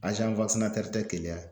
tɛ keleya.